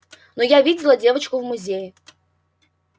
но я видела девочку в музее